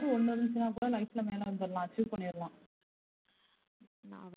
ஒன்னு இருந்துச்சுனா கூட life ல மேல வந்துரலாம் achieve பண்ணிரலாம்.